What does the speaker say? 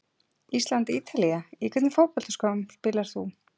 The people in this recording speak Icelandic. ísland- ítalía Í hvernig fótboltaskóm spilar þú?